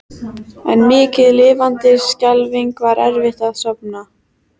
En mikið lifandis skelfing var erfitt að sofna.